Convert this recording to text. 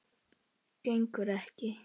Gengur ekki.